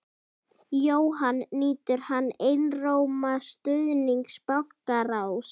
Jóhann: Nýtur hann einróma stuðnings bankaráðs?